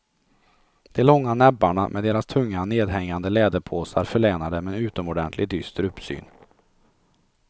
De långa näbbarna med deras tunga nedhängande läderpåsar förlänar dem en utomordentligt dyster uppsyn.